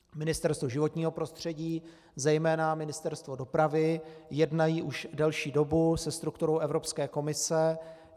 Ministerstvo životního prostředí, zejména Ministerstvo dopravy jednají už delší dobu se strukturou Evropské komise.